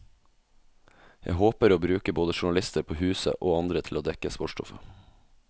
Jeg håper å bruke både journalister på huset, og andre til å dekke sportsstoffet.